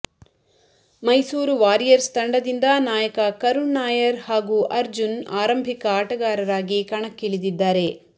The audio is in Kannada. ಮೈಸೂರು ವಾರಿಯರ್ಸ್ ತಂಡದಿಂದ ನಾಯಕ ಕರುಣ್ ನಾಯರ್ ಹಾಗೂಅರ್ಜುನ್ ಆರಂಭಿಕ ಆಟಗಾರರಾಗಿ ಕಣಕ್ಕಿಳಿದಿದ್ದಾರೆ